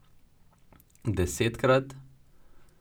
Desetkrat?